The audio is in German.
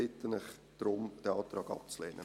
Ich bitte Sie darum, den Antrag abzulehnen.